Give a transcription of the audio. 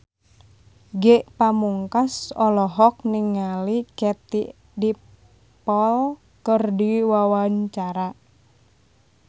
Ge Pamungkas olohok ningali Katie Dippold keur diwawancara